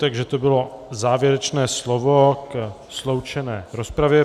Takže to bylo závěrečné slovo ke sloučené rozpravě.